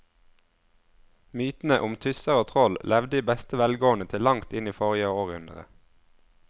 Mytene om tusser og troll levde i beste velgående til langt inn i forrige århundre.